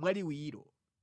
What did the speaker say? mwaliwiro.